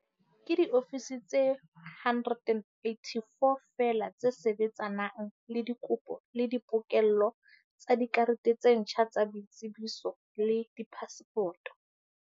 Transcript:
Ke diofisi tse 184 feela tse sebetsanang le dikopo le di pokello tsa dikarete tse ntjha tsa boitsebiso le diphasepoto.